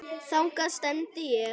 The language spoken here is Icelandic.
Þangað stefndi ég.